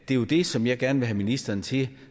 det er jo det som jeg gerne vil have ministeren til